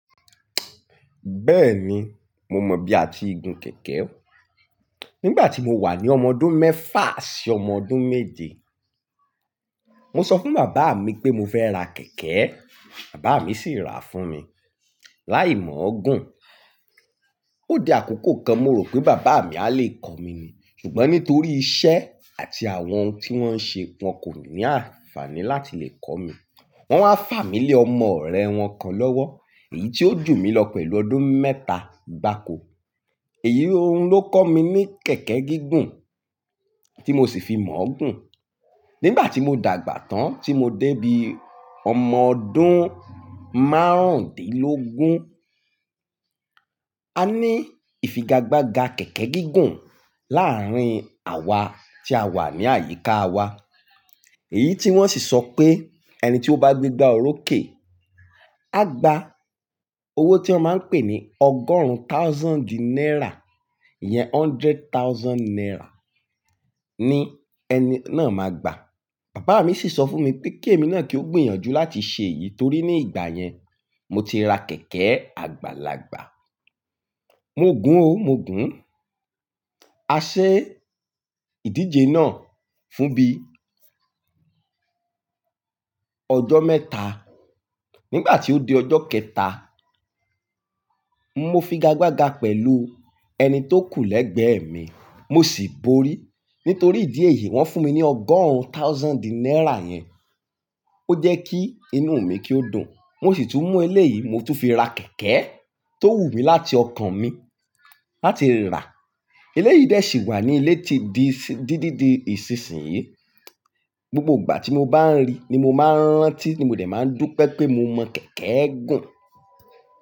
Bẹ́ẹ̀ni, mo mọ bí a ti gun kẹ̀kẹ́. Nígbàtí mo wà ní ọmọ ọdún mẹ́fà sí ọmọ ọdún méje, mo sọ fún bàbá mi pé mo fẹ́ ra kẹ̀kẹ́, bàbá mi sì rà fún mi. Láì mọọ gùn, ó di àkókò kan mo rò pé bàbá mi a lè kọ́ mi ni, ṣùgbọ́n nítorí iṣẹ́ àti àwọn ohun tí wọ́n ń ṣe, wọn kò ní ànfàní láti lè kọ́ mi. Wọ́n wá fà mí lé ọmọ ọ̀rẹ́ wọn kan lọ́wọ́, èyí tí ó jù mí lọ pẹ̀lú ọdún mẹ́ta gbáko. Èyí ohun ló kọ́ mi ní kẹ̀kẹ́ gígùn tí mo sì fi mọọ gùn. Nígbàtí mo dàgbà tán tí mo dé bí ọmọ ọdún márùndínlógún, a ní ìfigagbága kẹ̀kẹ́ gígùn láàrin awá tí a wà ní àyíká wa. Èyí tí wọ́n sì sọ pé ẹni tí ó bá gbégbá orókè, a gbá owó tí wọ́n má ń pè ní ọgọ́rùn thousand naira ìyẹn hundred thousand naira ni ẹni náà má gbà. Bàbá mi sì sọ fún mi pé kí èmi náà kí ó gbìyànjú láti ṣe èyí nítorí ní ìgbà yẹn mo ti ra kẹ̀kẹ́ àgbàlagbà. Mo gun o mo gun. A ṣe ìdíje náà fún bí ọjọ́ mẹ́ta. Nígbàtí ó di ọjọ́ kẹta, mo figagbaga pẹ̀lú ẹni tó kù l'ẹ́gbẹ̀ èmi, mo sì borí. Nítorí ìdí èyí wọ́n fún mi ní ọgọ́rùn thousand naira yẹn. Ó jẹ́ kí inú mi kí ó dùn. Mo sì tún mú eléyì mo tún fi ra kẹ̀kẹ́ tó wù mí láti ọkàn mi láti ra. Eléyì dẹ̀ sì wà ní ilé ti di dididi ìsinsìn yí. Gbogbo ìgbà tí mo bá ń rí ni mo má ń rántí ni mo dẹ̀ má ń dúpẹ́ pé mo mọ̀ kẹ̀kẹ́ gun.